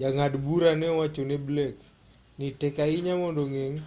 jang'ad bura ne owacho ne blake ni tek ahinya mondo ogeng'